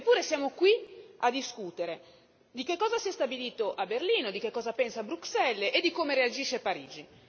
Eppure siamo qui a discutere di cosa si è stabilito a Berlino, di cosa pensa Bruxelles e di come reagisce Parigi.